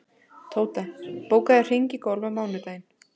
Tóta, bókaðu hring í golf á mánudaginn.